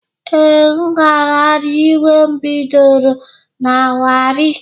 Ee, ngagharị iwe bidoro na Warri